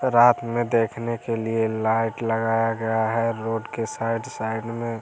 रात में देखने के लिए लाइट लगाया गया है रोड के साइड साइड में।